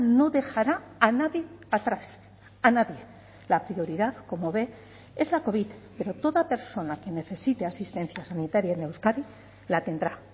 no dejará a nadie atrás a nadie la prioridad como ve es la covid pero toda persona que necesite asistencia sanitaria en euskadi la tendrá